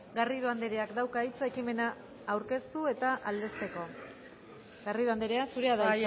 garrido andreak dauka hitza ekimena aurkeztu eta aldezteko garrido andrea zurea da